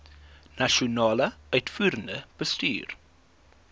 nasionale uitvoerende bestuur